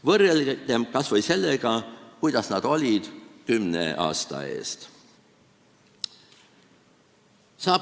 Võrrelgem kas või sellega, millised nad olid kümne aasta eest.